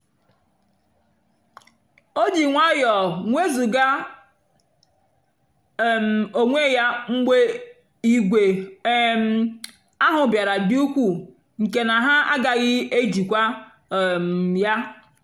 o jì nwayọ́ọ́ nwézugà um onwé ya mgbe ìgwè um ahụ́ bìàra dị́ ùkwuù nkè na ha àgàghị́ èjìkwa um ya.